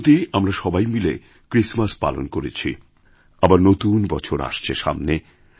সম্প্রতি আমরা সবাই মিলে ক্রিসমাস পালন করেছি আবার নতুন বছর আসছে সামনে